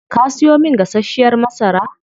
Kaa siyo min gasashiyar masara?